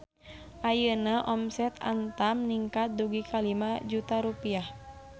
Ayeuna omset Antam ningkat dugi ka 5 juta rupiah